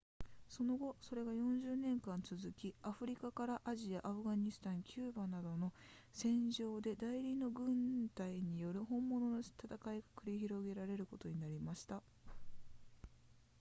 その後それが40年間続きアフリカからアジアアフガニスタンキューバなどの戦場で代理の軍隊による本物の戦いが繰り広げられることになりました